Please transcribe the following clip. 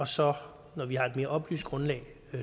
så har et mere oplyst grundlag